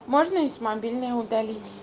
можно если мобильной удалить